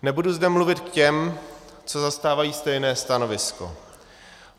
Nebudu zde mluvit k těm, co zastávají stejné stanovisko.